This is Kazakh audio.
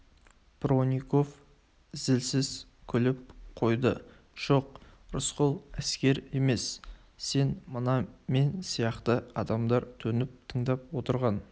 бронников зілсіз күліп қойды жоқ рысқұл әскер емес сен мына мен сияқты адамдар төніп тыңдап отырған